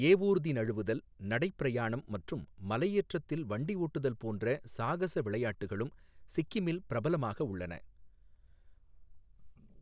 ஏவூர்தி நழுவுதல், நடைப் பிரயாணம் மற்றும் மலையேற்றத்தில் வண்டி ஓட்டுதல் போன்ற சாகச விளையாட்டுகளும் சிக்கிமில் பிரபலமாக உள்ளன.